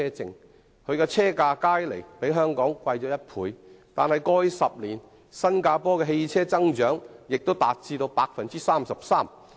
雖然當地的車價加起來較香港貴1倍，但在過去10年，新加坡車輛數目的增長亦高達 33%。